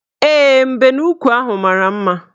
Ee, mbenuukwu ahụ mara mma